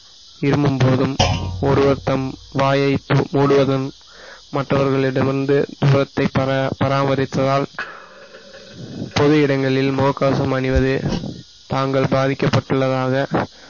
இருமும்போதும் ஒரு பக்கம் வாயை மூடுவதன் மற்றவர்களிடமிருந்து முகத்தை பரா~ பராமரித்ததால் பொது இடங்களில் முகக்கவசம் அணிவது தாங்கள் பாதிக்கப்பட்டுள்ளதாக